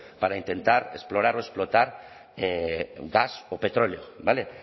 para intentar explorar o explotar gas o petróleo vale